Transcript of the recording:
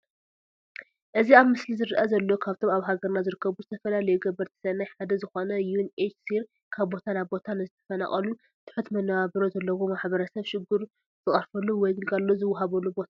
እዚ ኣብ ምስሊ ዝረአ ዘሎ ካብቶም ኣብ ሃገርና ዝርከቡ ዝተፈላለዩ ገበርቲ ሰናይ ሓደ ዝኾነ ዩ ን ኤች ሲ ር ካብ ቦታ ናብ ቦታ ንዝተፈናቐሉን ትሑት መነባብሮ ዘለዎም ማሕበረሰብ ሽግሩ ዝቐርፈሉ ወይ ግልጋሎት ዝወሃበሉ ቦታ እዩ።